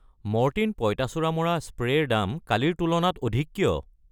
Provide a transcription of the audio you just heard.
Mortein পঁইতাচৰাই মৰা spray ৰ দাম কালিৰ তুলনাত অধিক কিয়?